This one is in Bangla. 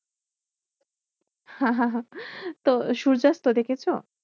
তো সূর্যাস্ত দেখেছো?